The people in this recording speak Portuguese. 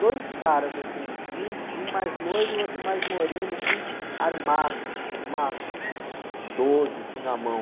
Dois caras, assim, um, um mais loiro e outro mais moreno, assim, armado, com uma doze, assim, na mão.